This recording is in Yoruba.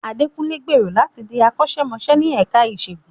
Adekunle gbèrò láti di akọ́ṣẹ́mọṣẹ́ ní ẹ̀ka ìṣègùn.